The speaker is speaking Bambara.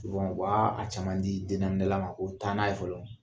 Wa u b'aa a caman di dennaminɛla ma ko taa n'a ye fɔlɔ.